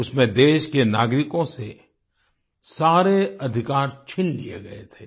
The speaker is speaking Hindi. उसमें देश के नागरिकों से सारे अधिकार छीन लिए गए थे